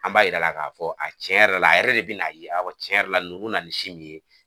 An b'a yira a la k'a fɔ a tiɲɛ yɛrɛ la a yɛrɛ de bɛn'a ye awɔ tiɲɛ yɛrɛ la nugu na n mɛ nin si min ye